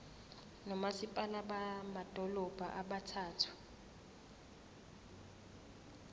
nomasipala bamadolobha abathathu